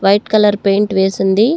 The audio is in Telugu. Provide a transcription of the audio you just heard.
White colour paint వేసుంది.